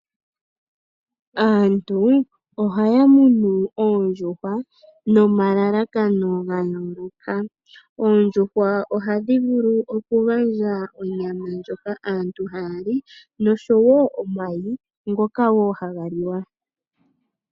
Aantu ohaya munu oondjuhwa nomalalakano gayooloka. Oondjuhwa ohadhi vulu okugandja onyama ndjoka aantu haya li noshowoo omayi ngoka haga liwa.